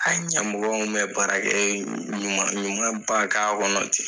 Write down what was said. a ɲa mɔgɔ min bɛ baarakɛ ɲuman ɲuman ba k'a kɔnɔ ten.